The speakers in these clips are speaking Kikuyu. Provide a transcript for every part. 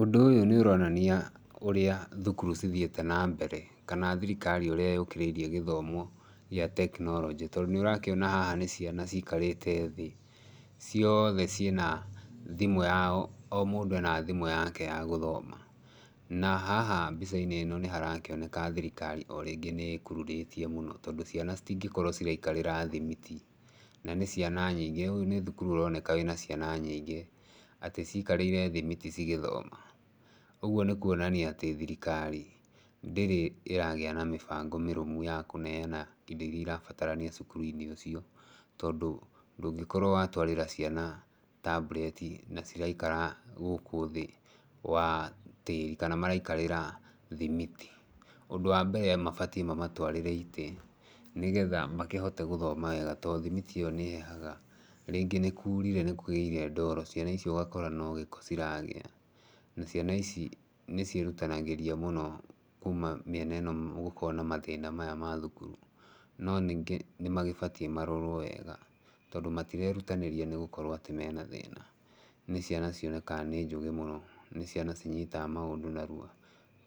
Undũ ũyũ nĩ ũronania ũrĩa thukuru cithiĩte na mbere, kana thirikari ũrĩa yũkĩrĩirie gĩthomo gĩa tekinoronjĩ. Tondũ nĩ ũrakĩona haha nĩ ciana cikarĩte thĩ, ciothe ciĩna thimũ yao, o mũndũ ena thimũ yake ya gũthoma. Na haha mbica-inĩ ĩno nĩ harakĩoneka thirikari o rĩngĩ nĩ ĩkururĩtie mũno tondũ ciana citingĩkorwo ciraikarĩra thimiti na nĩ ciana nyingĩ, ũyũ nĩ thukuru ũroneka wĩna ciana nyingĩ, atĩ cikarĩire thimiti cigĩthoma. Ũguo nĩ kuonania atĩ thirikari ndĩrĩ ĩragĩa na mĩbango mĩrũmu ya kũneana indo irĩa irabatarania cukuru-inĩ ũcio. Tondũ ndũngĩkorwo watwarĩra ciana tablet na ciraikara gũkũ thĩ wa tĩri, kana maraikarĩra thimiti. Ũndũ wa mbere mabatiĩ mamatwarĩre itĩ nĩgetha makĩhote gũthoma wega, tondũ thimiti ĩyo nĩ ĩhehaga, rĩngĩ nĩ kurire nĩ kũgĩire ndoro, ciana icio ũgakora no gĩko ciragĩa. Na ciana ici nĩ ciĩrutanagĩria mũno kuma mĩena ĩno gũkoragwo na mathĩna maya ma thukuru. No ningĩ nĩ magĩbatiĩ marorwo wega tondũ matirerutanĩria nĩ gũkorwo atĩ mena thĩna, nĩ ciana cionekaga nĩ njũgĩ mũno, nĩ ciana cinyitaga maũndũ narua,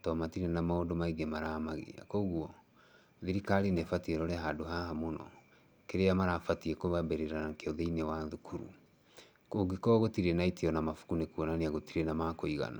tondũ matirĩ na maũndũ maingĩ maramagia. Koguo thirikari nĩ ĩbatiĩ ĩrore handũ haha mũno, kĩrĩa marabatiĩ kwambĩrĩra nakĩo thĩinĩ wa thukuru. Kũngĩkorwo gũtirĩ na itĩ ona mabuku nĩ kuonania gũtirĩ na makũigana.